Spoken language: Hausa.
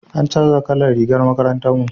an canja kalan rigar makarantar mu